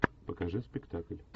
покажи спектакль